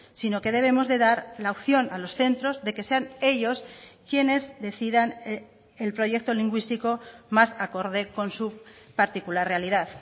sino que debemos de dar la opción a los centros de que sean ellos quienes decidan el proyecto lingüístico más acorde con su particular realidad